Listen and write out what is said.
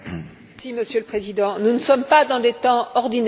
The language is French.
Monsieur le Président, nous ne sommes pas dans des temps ordinaires.